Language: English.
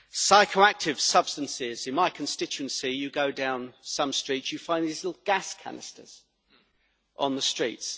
psychoactive substances. In my constituency, you go down some streets and you find these little gas canisters on the street.